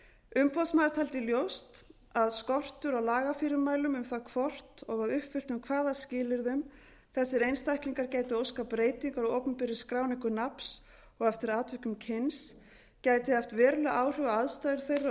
umboðsmaður taldi ljóst að skortur á lagafyrirmælum um það hvort og að uppfylltum hvaða skilyrðum þessir einstaklingar gætu óskað breytingar á opinberri skráningu nafns og eftir atvikum kyns gæti haft veruleg áhrif á aðstæður þeirra og